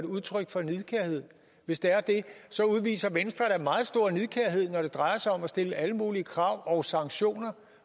udtryk for nidkærhed hvis det er det udviser venstre da meget stor nidkærhed når det drejer sig om at stille alle mulige krav og sanktioner